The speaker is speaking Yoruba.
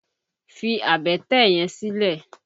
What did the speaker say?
Fi àbẹ́tẹ̀ yẹn sílẹ̀!